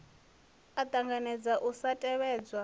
a ṱanganedza u sa tevhedzwa